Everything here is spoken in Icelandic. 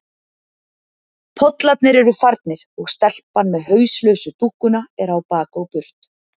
Pollarnir eru farnir og stelpan með hauslausu dúkkuna er á bak og burt.